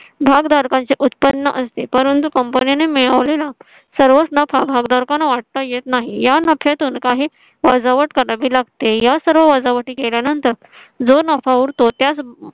भागदारकांची उत्पन्न असते परंतु company ने मिळवलेला सर्वोच्च भागधारकांना वाटता येत नाही. या नफ्यातून काही वजावट करावी लागते. या सर्व वजावटी केल्यानंतर. जो नफा उरतो